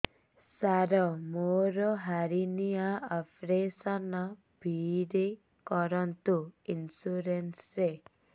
ସାର ମୋର hernia operation free ରେ କରନ୍ତୁ ଇନ୍ସୁରେନ୍ସ ରେ